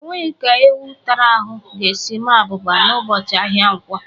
Ọ nweghị ka ewu tara ahụ ga-esi maa abụba n’ụbọchị ahịa Nkwọ